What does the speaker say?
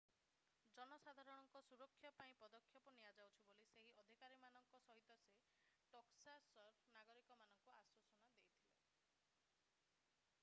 ଜନସାଧାରଣଙ୍କ ସୁରକ୍ଷା ପାଇଁ ପଦକ୍ଷେପ ନିଆଯାଉଛି ବୋଲି ସେହି ଅଧିକାରୀମାନଙ୍କ ସହିତ ସେ ଟେକ୍ସାସର ନାଗରିକମାନଙ୍କୁ ଆଶ୍ୱାସନା ଦେଇଥିଲେ